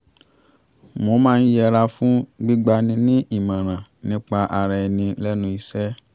mo máa ń yẹra fún gbígba ni ní ìmọràn nípa ara ẹni lẹ́nu iṣẹ́